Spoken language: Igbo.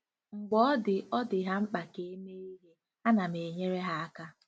Mgbe ọ dị ọ dị ha mkpa ka e mee ihe, a nam enyere há aka.